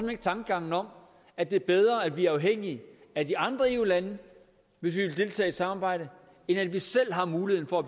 ikke tankegangen om at det er bedre at vi er afhængige af de andre eu lande hvis vi vil deltage i et samarbejde end at vi selv har muligheden for at